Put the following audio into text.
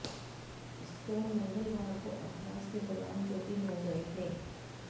stone मंगलवार को अभ्यास के दौरान चोटिल हो गये थे